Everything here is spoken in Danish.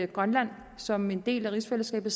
grønland som en del af rigsfællesskabet